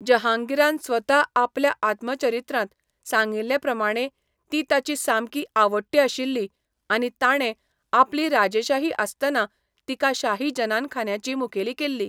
जहांगीरान स्वता आपल्या आत्मचरित्रांत सांगिल्लेप्रमाणें ती ताची सामकी आवडटी आशिल्ली आनी ताणें आपली राजेशाही आसतना तिका शाही जनानखान्याची मुखेल केल्ली.